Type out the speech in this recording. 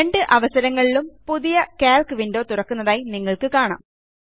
രണ്ട് അവസരങ്ങളിലും പുതിയ കാൽക്ക് വിൻഡോ തുറക്കുന്നതായി നിങ്ങൾക്ക് കാണാം